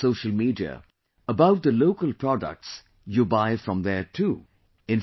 Do share on social media about the local products you buy from there too